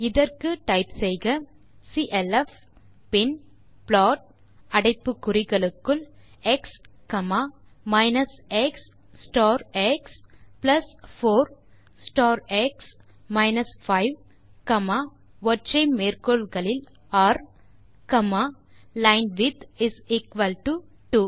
இதற்கு டைப் செய்க சிஎல்எஃப் பின் ப்ளாட் அடைப்பு குறிகளுக்குள் x minus x star x plus 4 star x minus 5ர் லைன்விட்த் இஸ் எக்குவல் டோ 2